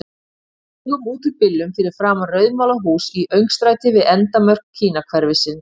Við stigum út úr bílnum fyrir framan rauðmálað hús í öngstræti við endamörk Kínahverfisins.